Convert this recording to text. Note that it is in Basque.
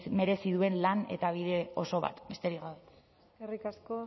merezi duen lan eta bide oso bat besterik gabe eskerrik asko